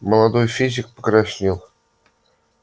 молодой физик покраснел